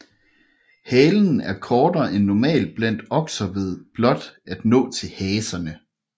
Halen er kortere end normalt blandt okser ved blot at nå til haserne